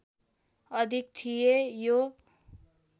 अधिक थिए यो